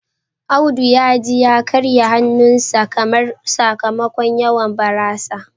Audu ya ji ya karye hannunsa kamar. sakamakon yawan barasa